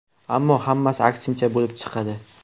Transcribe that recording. Ammo hammasi aksincha bo‘lib chiqadi.